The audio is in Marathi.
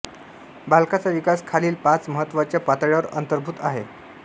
बालकांचा विकास खालील पाच महत्त्वाच्या पातळ्यांवर अंतर्भूत आहे